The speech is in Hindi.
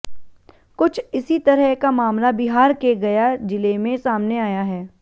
कुछ इसी तरह का मामला बिहार के गया जिले में सामने आया है